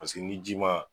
Paseke ni ji ma